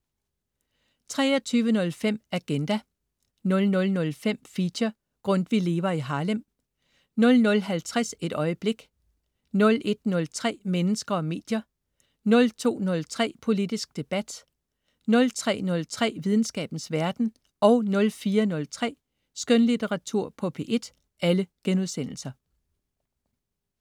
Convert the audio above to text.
23.05 Agenda* 00.05 Feature: Grundtvig lever i Harlem* 00.50 Et øjeblik* 01.03 Mennesker og medier* 02.03 Politisk debat* 03.03 Videnskabens verden* 04.03 Skønlitteratur på P1*